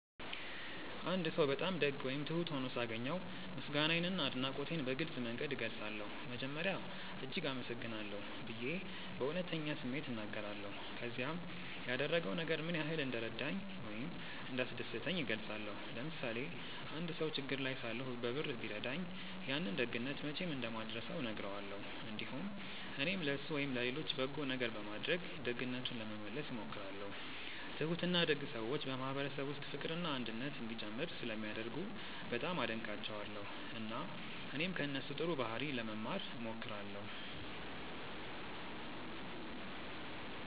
አንድ ሰው በጣም ደግ ወይም ትሁት ሆኖ ሳገኘው ምስጋናዬንና አድናቆቴን በግልጽ መንገድ እገልጻለሁ። መጀመሪያ “እጅግ አመሰግናለሁ” ብዬ በእውነተኛ ስሜት እናገራለሁ፣ ከዚያም ያደረገው ነገር ምን ያህል እንደረዳኝ ወይም እንዳስደሰተኝ እገልጻለሁ። ለምሳሌ አንድ ሰው ችግር ላይ ሳለሁ በብር ቢረዳኝ፣ ያንን ደግነት መቼም እንደማልረሳው እነግረዋለሁ። እንዲሁም እኔም ለእሱ ወይም ለሌሎች በጎ ነገር በማድረግ ደግነቱን ለመመለስ እሞክራለሁ። ትሁትና ደግ ሰዎች በማህበረሰብ ውስጥ ፍቅርና አንድነት እንዲጨምር ስለሚያደርጉ በጣም አደንቃቸዋለሁ፣ እና እኔም ከእነሱ ጥሩ ባህሪ ለመማር እሞክራለሁ።